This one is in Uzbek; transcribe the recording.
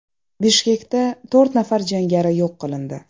Bishkekda to‘rt nafar jangari yo‘q qilindi.